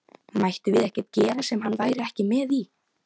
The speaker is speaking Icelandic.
Mættum við ekkert gera sem hann væri ekki með í?